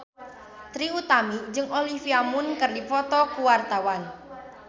Trie Utami jeung Olivia Munn keur dipoto ku wartawan